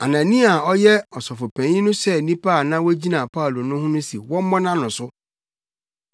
Anania a na ɔyɛ Ɔsɔfopanyin no hyɛɛ nnipa a na wogyina Paulo ho no se wɔmmɔ nʼano so.